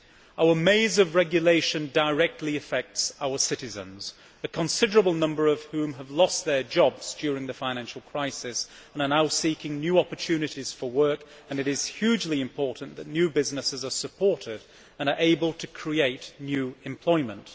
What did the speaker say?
Our maze of regulation directly affects our citizens, a considerable number of whom have lost their jobs during the financial crisis and are now seeking new opportunities for work, and it is hugely important that new businesses are supported and are able to create new employment.